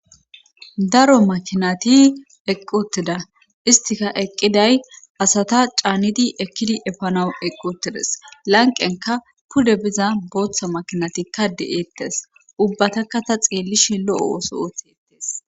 daro makinati eqqotida istika eqqiday asata caanidi ekkidi efanawu eqqotides lanqenka pude biza booththa makinatikka de7eettes ubbatakka ta xeellishi lo7o ooso ootetes